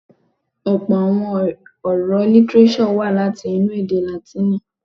Ọ̀̀pọ̀ àwọn ọ̀rọ̀ lítírésọ̀ wá láti inú èdè Látìnì.